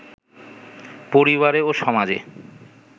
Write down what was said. পরিবারে ও সমাজে